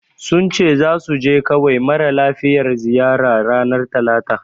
Sun ce zasu je kawai mara lafiyar ziyara. ranar talata.